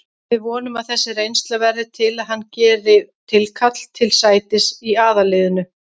Við vonum að þessi reynsla verði til að hann geri tilkall til sætis í aðalliðinu.